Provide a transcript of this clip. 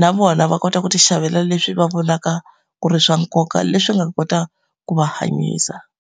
na vona va kota ku ti xavela leswi va vonaka ku ri swa nkoka, leswi nga ta kota ku va hanyisa.